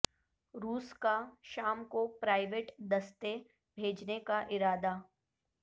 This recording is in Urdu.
روس کاشام کو پراوئیویٹ دستے بھیجننے کا ارادہ